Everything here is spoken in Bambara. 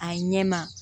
A ɲɛ ma